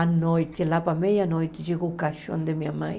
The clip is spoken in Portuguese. À noite, lá para meia-noite, chegou o caixão de minha mãe.